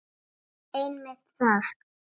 Einmitt það.